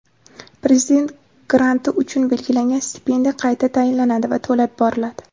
Prezident granti uchun belgilangan stipendiya qayta tayinlanadi va to‘lab boriladi.